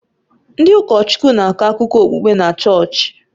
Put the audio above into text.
Ndị ụkọchukwu na-akọ akụkọ okpukpe na chọọchị